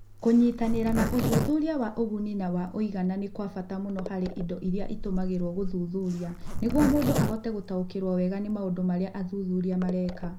Kũnyitanĩra na ũthuthuria wa ũguni na wa ũigana nĩ kwa bata mũno harĩ indo iria itũmagĩrũo gũthuthuria nĩguo mũndũ ahote gũtaũkĩrũo wega nĩ maũndũ marĩa athuthuria mareka.